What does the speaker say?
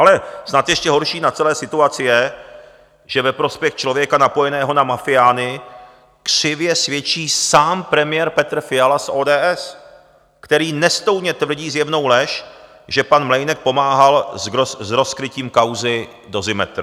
Ale snad ještě horší na celé situaci je, že ve prospěch člověka napojeného na mafiány křivě svědčí sám premiér Petr Fiala z ODS, který nestoudně tvrdí zjevnou lež, že pan Mlejnek pomáhal s rozkrytím kauzy Dozimetr.